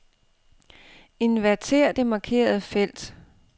Inverter det markerede felt.